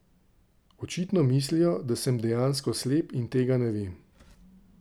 Očitno mislijo, da sem dejansko slep in tega ne vem.